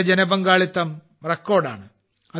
ഇതിലെ ജനപങ്കാളിത്തം റെക്കോർഡാണ്